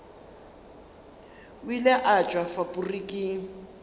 o ile a tšwa faporiking